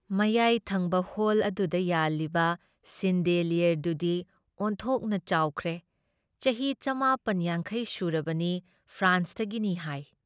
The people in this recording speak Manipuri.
ꯃꯌꯥꯏ ꯊꯪꯕ ꯍꯣꯜ ꯑꯗꯨꯗ ꯌꯥꯜꯂꯤꯕ ꯁꯤꯟꯗꯤꯂꯌꯔꯗꯨꯗꯤ ꯑꯣꯟꯊꯣꯛꯅ ꯆꯥꯎꯈ꯭ꯔꯦ, ꯆꯍꯤ ꯆꯃꯥꯄꯟ ꯌꯥꯡꯈꯩ ꯁꯨꯔꯕꯅꯤ ꯐ꯭ꯔꯥꯟꯁꯇꯒꯤꯅꯤ ꯍꯥꯏ ꯫